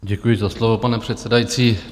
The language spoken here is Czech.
Děkuji za slovo, pane předsedající.